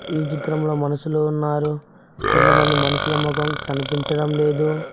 ఈ చిత్రం లో మనుషలు ఉన్నారు కొంతమంది మనుషులు మొకం కనిపించటం లేదు.